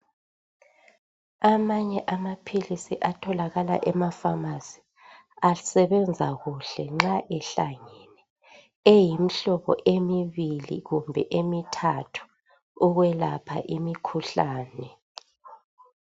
Amanye amaphilisi atholakala emafamasi asebenza kuhle nxa ehlangene, eyimhlobo emibili kumbe emithathu ukwelapha imikhuhlane.